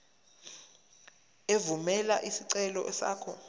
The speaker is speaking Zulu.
evumela isicelo sakho